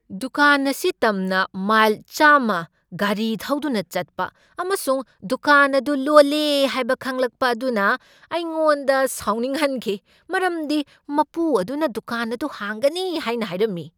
ꯗꯨꯀꯥꯟ ꯑꯁꯤ ꯇꯝꯅ ꯃꯥꯏꯜ ꯆꯥꯝꯃ ꯒꯥꯔꯤ ꯊꯧꯗꯨꯅ ꯆꯠꯄ ꯑꯃꯁꯨꯡ ꯗꯨꯀꯥꯟ ꯑꯗꯨ ꯂꯣꯜꯂꯦ ꯍꯥꯏꯕ ꯈꯪꯂꯛꯄ ꯑꯗꯨꯅ ꯑꯩꯉꯣꯟꯗ ꯁꯥꯎꯅꯤꯡꯍꯟꯈꯤ, ꯃꯔꯝꯗꯤ ꯃꯄꯨ ꯑꯗꯨꯅ ꯗꯨꯀꯥꯟ ꯑꯗꯨ ꯍꯥꯡꯒꯅꯤ ꯍꯥꯏꯅ ꯍꯥꯏꯔꯝꯃꯤ꯫